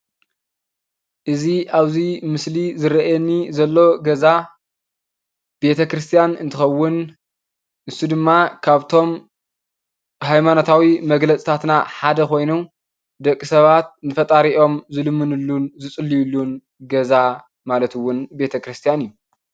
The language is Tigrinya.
እዚ ኣብዚ ምስሊ ዝረኣየኒ ዘሎ ገዛ ቤተ ክርስትያን እንትከዉን ንሱ ድማ ካብቶም ሃይማኖታዊ መግለጽታትና ሓደ ኮይኑ ደቂ ሰባት ንፈጣሪኦም ዝልምንሉን ዝጽልዩሉን ገዛ ማለት እዉን ቤተ ክርስትያ እዩ።